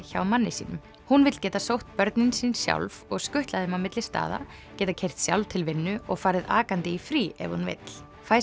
hjá manni sínum hún vill geta sótt börnin sín sjálf og skutlað þeim á milli staða geta keyrt sjálf til vinnu og farið akandi í frí ef hún vill